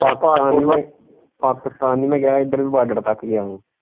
ਪਾਕਿਸਤਾਨ ਪਾਕਿਸਤਾਨ ਨਹੀਂ ਮੈਂ ਗਿਆ ਹੀ ਇੱਧਰ ਵੀ ਬਾਰਡਰ ਤੱਕ ਗਿਆ ਹੀ।